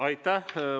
Aitäh!